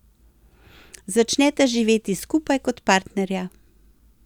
Začneta živeti skupaj kot partnerja.